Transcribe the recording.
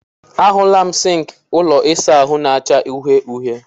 A hụla m sịnkị ụlọ ịsa ahụ na-acha uhie uhie.